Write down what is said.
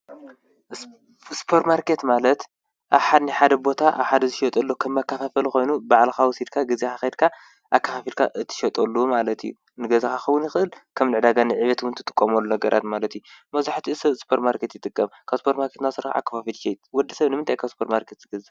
ስፖርማርኬት ማለት ናይ ሓደ ቦታ ኣብ ሓደ ዝሽየጠሉ ከም መከፋፈሊ ኮይኑ ባዕልኻ ወሲድካ ገዚእኻ ከይድካ ኣከፋፊልካ እትሸጠሉ ማለት እዩ፡፡ ንገዛኻ ክኸውን ይኽእል ከም ንዕዳጋ ንዕቤት እውን ትጥቀመሉ ነገራት ማለት እዩ፡፡ መብዛሕትኡ ሰብ ስፖርማርኬት ይጥቀም፡፡ ካብ ስፓር ማርኬት ዝስራሕ ወዲ ሰብ ንምንታይ እዩ ካብ ስፖርማርኬት ዝገዝእ?